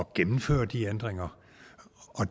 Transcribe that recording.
gennemføre de ændringer